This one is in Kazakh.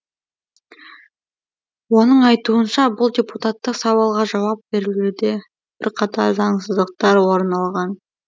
оның айтуынша бұл депутаттық сауалға жауап берілуде бірқатар заңсыздықтар орын алған